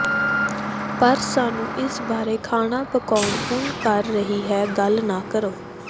ਪਰ ਸਾਨੂੰ ਇਸ ਬਾਰੇ ਖਾਣਾ ਪਕਾਉਣ ਹੁਣ ਕਰ ਰਹੀ ਹੈ ਗੱਲ ਨਾ ਕਰੋ